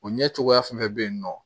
O ɲɛ cogoya fɛnɛ bɛ yen nɔ